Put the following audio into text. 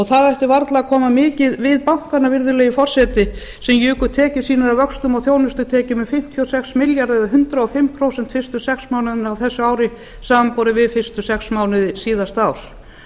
það ætti varla að koma mikið við bankana virðulegi forseti sem juku tekjur sínar af vöxtum og þjónustutekjum um fimmtíu og sex milljarða eða hundrað og fimm prósent fyrstu sex mánuðina á þessu ári samanborið við fyrstu sex mánuði síðasta